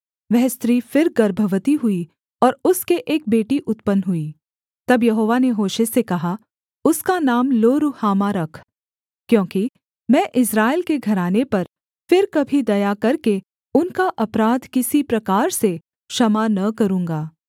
वह स्त्री फिर गर्भवती हुई और उसके एक बेटी उत्पन्न हुई तब यहोवा ने होशे से कहा उसका नाम लोरुहामा रख क्योंकि मैं इस्राएल के घराने पर फिर कभी दया करके उनका अपराध किसी प्रकार से क्षमा न करूँगा